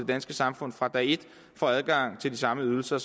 danske samfund fra dag et får adgang til de samme ydelser